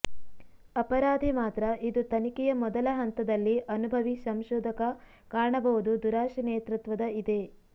ಅಪರಾಧಿ ಮಾತ್ರ ಇದು ತನಿಖೆಯ ಮೊದಲ ಹಂತದಲ್ಲಿ ಅನುಭವಿ ಸಂಶೋಧಕ ಕಾಣಬಹುದು ದುರಾಶೆ ನೇತೃತ್ವದ ಇದೆ